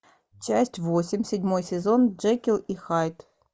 часть восемь седьмой сезон джекил и хайд